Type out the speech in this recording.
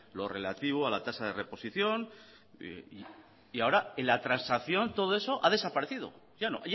lo relativo a la tasa de reposición y ahora en la transacción todo eso ha desaparecido ya no